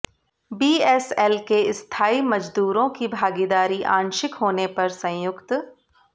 BSL के स्थायी मजदूरों की भागीदारी आंशिक होने पर संयुक्त